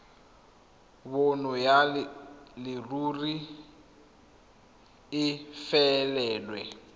bonno ya leruri e felelwe